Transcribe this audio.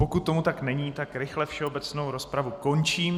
Pokud tomu tak není, tak rychle všeobecnou rozpravu končím.